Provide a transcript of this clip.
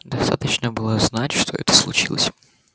достаточно было знать что это случилось